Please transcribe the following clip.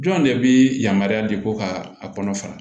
Jɔn de bɛ yamaruya di ko ka a kɔnɔ fara